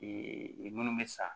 minnu bɛ sa